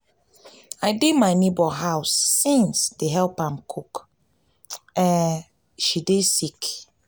i dey my nebor house since dey help am cook she dey sick.